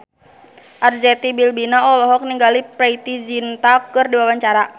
Arzetti Bilbina olohok ningali Preity Zinta keur diwawancara